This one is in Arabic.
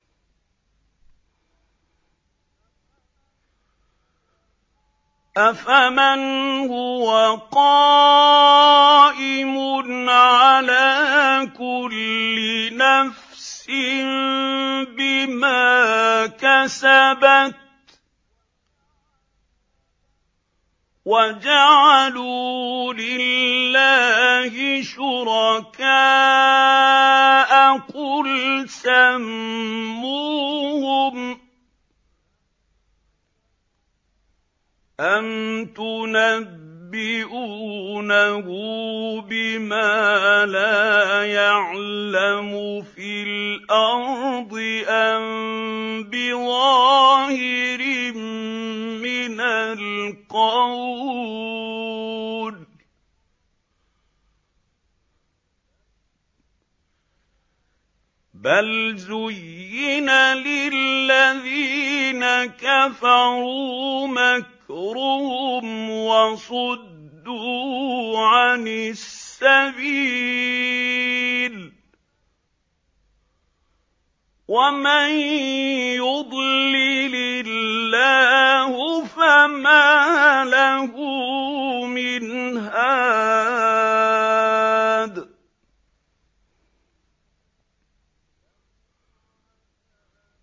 أَفَمَنْ هُوَ قَائِمٌ عَلَىٰ كُلِّ نَفْسٍ بِمَا كَسَبَتْ ۗ وَجَعَلُوا لِلَّهِ شُرَكَاءَ قُلْ سَمُّوهُمْ ۚ أَمْ تُنَبِّئُونَهُ بِمَا لَا يَعْلَمُ فِي الْأَرْضِ أَم بِظَاهِرٍ مِّنَ الْقَوْلِ ۗ بَلْ زُيِّنَ لِلَّذِينَ كَفَرُوا مَكْرُهُمْ وَصُدُّوا عَنِ السَّبِيلِ ۗ وَمَن يُضْلِلِ اللَّهُ فَمَا لَهُ مِنْ هَادٍ